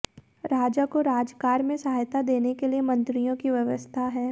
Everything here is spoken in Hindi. राजा को राजकार्य में सहायता देने के लिए मंत्रियों की व्यवस्था है